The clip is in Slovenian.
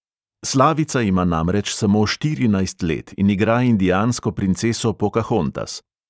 Slavica ima namreč samo štirinajst let in igra indijansko princeso pokahontas.